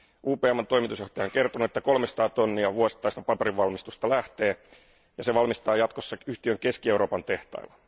UPMn toimitusjohtaja on kertonut, että kolmesataa tonnia vuosittaista paperinvalmistusta lähtee, ja se valmistetaan jatkossa yhtiön Keski Euroopan tehtailla.